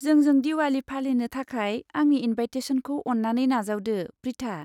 जोंजों दिवाली फालिनो थाखाय आंनि इनभाइटेसनखौ अन्नानै नाजावदो, प्रिथा।